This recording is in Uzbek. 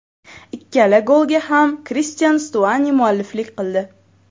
Ikkala golga ham Kristian Stuani mualliflik qildi.